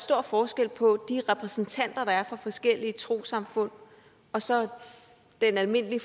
stor forskel på de repræsentanter der er for forskellige trossamfund og så den almindelige